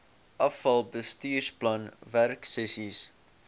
afal bestuursplan werksessies